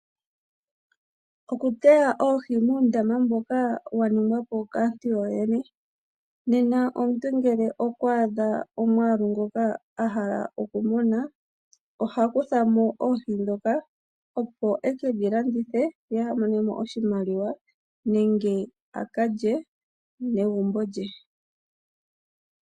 Oku teya oohi muundama mboka wa ningwa po kaantu yoyene, nena omuntu ngele okwaadha omwaalu ngoka oha kutha mo oohi ndhoka. opo ekedhi landithe ye a vule okumona mo oshimaliwa nenge a ka lye naanegumbo lye